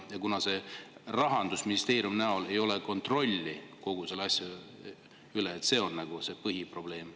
Ja kuna Rahandusministeeriumi näol ei ole kontrolli kogu selle asja üle, siis see on põhiprobleem.